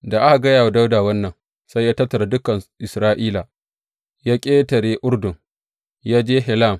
Da aka gaya wa Dawuda wannan, sai ya tattara dukan Isra’ila, ya ƙetare Urdun, ya je Helam.